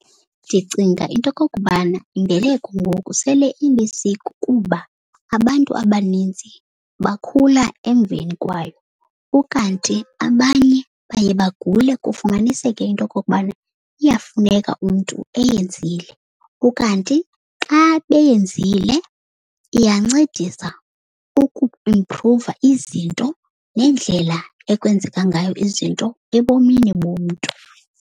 Ndicinga into yokokubana imbeleko ngoku sele ilisiko kuba abantu abanintsi bakhula emveni kwayo. Ukanti abanye baye bagule kufumaniseke into yokokubana iyafuneka umntu eyenzile. Ukanti xa beyenzile iyancedisa ukuba imphruva izinto nendlela ekwenzeka ngayo izinto ebomini bomntu.